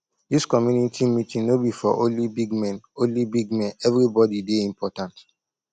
dis community meeting no be for only big men only big men everybody dey important